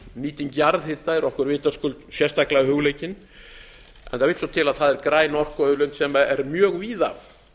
nýting jarðhita er okkur vitaskuld sérstaklega hugleikin en það vill svo til að það er græn orkuauðlind sem er mjög víða